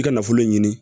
I ka nafolo ɲini